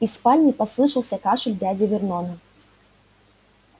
из спальни послышался кашель дяди вернона